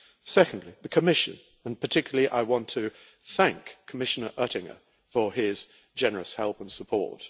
Secondly, the Commission, and I particularly want to thank Commissioner Oettinger for his generous help and support.